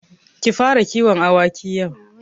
Ki fara kiwon awaki yau.